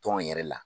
Tɔn yɛrɛ la